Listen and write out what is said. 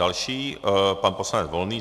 Další pan poslanec Volný.